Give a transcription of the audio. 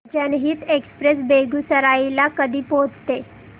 जनहित एक्सप्रेस बेगूसराई ला कधी पोहचते